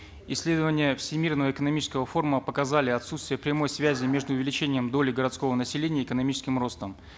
исследования всемирного экономического форума показали отсутствие прямой связи между увеличением доли городского населения и экономическим ростом